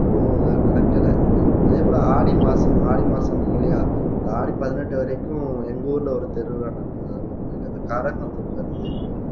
இப்போ நடக்கலை அதே போல ஆடி மாசம் ஆடி மாசம் சொன்னீங்க இல்லையா இந்த ஆடி பதினெட்டு வரைக்கும் எங்க ஊர்ல ஒரு திருவிழா நடக்கும் ஏதாவது ஒரு கோயில் அந்த கரகம் தூக்குறது